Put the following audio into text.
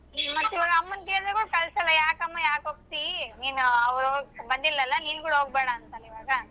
ಮತ್ತ್ ಈವಾಗ ಅಮ್ಮನ್ ಕೇಳಿದರು ಕಳಸಲ್ಲಾ ಯಾಕಮ್ಮ ಯಾಕ್ ಹೋಗ್ತಿ ನೀನು ಅವ್ರ ಬಂದಿಲಲ್ಲಾ ನಿನ್ ಕೂಡಾ ಹೋಗ್ಬೇಡ ಅಂತಾರ ಈವಾಗ.